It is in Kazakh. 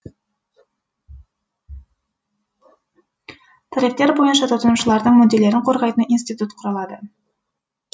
тарифтер бойынша тұтынушылардың мүдделерін қорғайтын институт құрылады